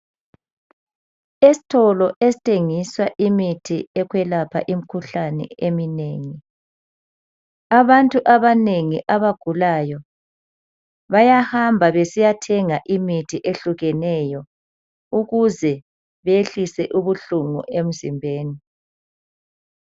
Esitolo esithengisa imithi yokwelapha imikhuhlane eminengi, abantu abanengi abagulayo bayahamba besiyathenga imithi ehlukeneyo ukuze behlise ubuhlungu emzimbeni